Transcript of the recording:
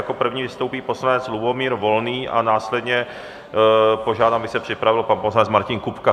Jako první vystoupí poslanec Lubomír Volný a následně požádám, aby se připravil pan poslanec Martin Kupka.